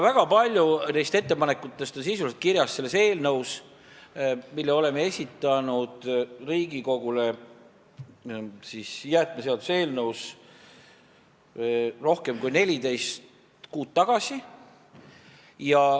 Väga paljud neist ettepanekutest on sisuliselt kirjas jäätmeseaduse eelnõus, mille esitasime Riigikogule rohkem kui 14 kuud tagasi.